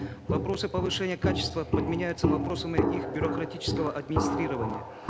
вопросы повышения качества подменяются вопросами их бюрократического администрирования